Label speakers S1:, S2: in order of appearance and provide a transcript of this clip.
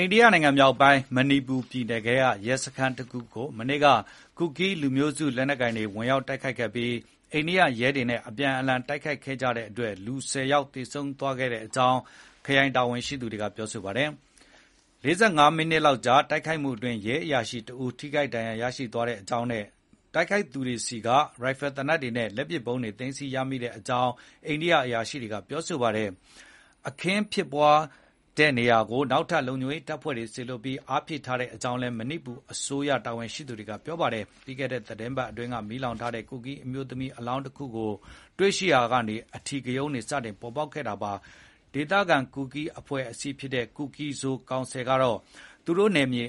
S1: ိန္ဒိယနိုင်ငံမြောက်ပိုင်း မဏိပူပြည်နယ်ကရဲစခန်းတခုကို မနေ့က ကူကီးလူမျိုးစုတွေဝင်ရောက် တိုက်ခိုက်ပြီး အိန္ဒိယရဲတွေနဲ့ အပြန်အလှန် တိုက်ခိုက်ခဲ့ကြတဲ့အတွက် လူ ၁၀ ယောက်လောက် သေဆုံးသွားတဲ့အကြောင်း ခရိုင်အရာရှိတွေကပြောပါတယ်။ ၄၅ မိနစ်လောက်ကြာ တိုက်ခိုက်မှုအတွင်း ရဲအရာရှိတဦး ထိခိုက်ဒဏ်ရာရသွားကြောင်းနဲ့ တိုက်ခိုက်သူတွေဆီက ရိုင်ဖယ်သေနတ်တွေနဲ့ လက်ပစ်ဗုံးတွေ သိမ်းဆည်းရမိကြောင်း အိန္ဒိယ အရာရှိတွေ ကပြောပါတယ်။ အခင်းဖြစ်ပွားတဲ့နေရာကိုနောက်ထပ် လုံခြုံရေးတပ်ဖွဲ့တွေ ထပ်လွှတ်ပြီး အားဖြည့်ထားကြောင်းလည်း မဏိပူအစိုးရတာဝန်ရှိသူတွေက ပြောပါတယ်။ ပြီးခဲ့တဲ့ သီတင်းပတ်က မီးလောင်ထားတဲ့ ကူကီးအမျိုးသမီးအလောင်းတခုကိုတွေ့ရှိရာက အဓိကရုဏ်းတွေ စပေါ်ပေါက်ခဲ့တာပါ။ ဒေသခံ ကူကီးအဖွဲ့အစည်းဖြစ်တဲ့ Kuki-Zo Council ကတော့ သူတို့နယ်မြေ